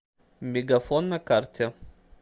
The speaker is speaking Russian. мегафон на карте